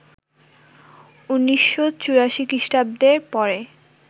১৯৮৪ খ্রিষ্টাব্দের পরে